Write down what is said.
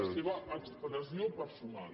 la seva expressió personal